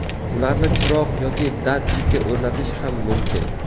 Ularni chiroq yoki datchikka o‘rnatish ham mumkin.